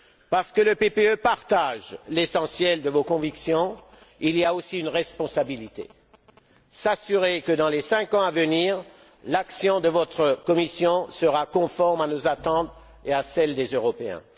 Parce que le PPE partage l'essentiel de vos convictions, il y a aussi une responsabilité s'assurer que dans les cinq ans à venir, l'action de votre Commission soit conforme à nos attentes et à celle des Européens.